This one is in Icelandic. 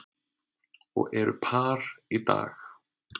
og eru par í dag.